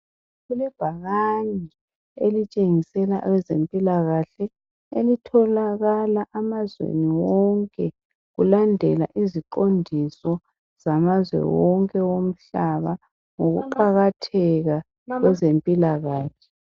Kulebhakane elitshengisela owezempikahle elitholaka emazweni wonke kulandela iziqondiso zamazwe wonke omhlaba ngokuqakatheka kwezempilakahle.